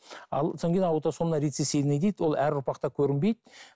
ал содан кейін аутосомно рецессивный дейді ол әр ұрпақта көрінбейді